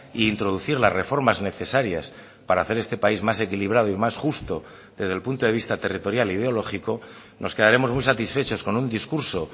e introducir las reformas necesarias para hacer este país más equilibrado y más justo desde el punto de vista territorial ideológico nos quedaremos muy satisfechos con un discurso